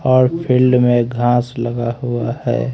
और फील्ड में घास लगा हुआ है।